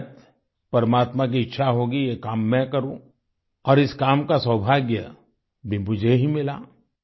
शायद परमात्मा की इच्छा होगी ये काम मैं करूं और इस काम का सौभाग्य भी मुझे ही मिला